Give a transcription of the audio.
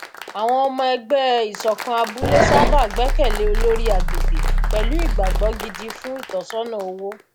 àwọn ọmọ ẹgbẹ ìṣọkan abúlé sábà gbẹkẹ lé olórí agbègbè pẹlú ìgbàgbọ gidi fún ìtọsọnà owó